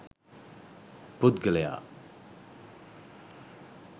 පුද්ගලයා